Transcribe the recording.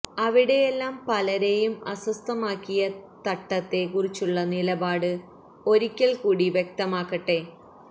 അവിടെയെല്ലാം പലരേയും അസ്വസ്ഥമാക്കിയ തട്ടത്തെ കുറിച്ചുള്ള നിലപാട് ഒരിക്കൽ കൂടി വ്യക്തമാക്കട്ടെ